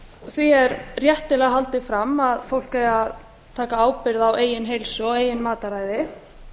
því er réttilega haldið fram að fólk eigi að taka ábyrgð á meginheilsu og eigin mataræði